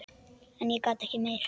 En ég gat ekki meir.